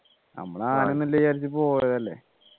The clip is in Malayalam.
നമ്മള് അവയൊന്നും ഇല്ല വിചാരിച്ച് പോയതല്ലേ